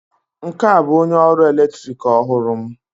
Nke a bụ onye ọrụ eletrik ọhụrụ m